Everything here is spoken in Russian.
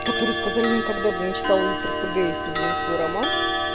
который сказали никогда бы не читал литрпг если бы не твой роман